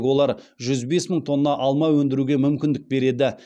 олар жүз бес мың тонна алма өндіруге мүмкіндік береді